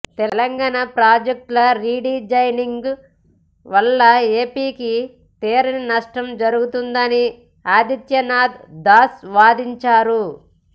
తెలంగాణ ప్రాజెక్టుల రీడిజైనింగ్ వల్ల ఏపీకి తీరని నష్టం జరుగుతుందని ఆదిత్యనాథ్ దాస్ వాదించారు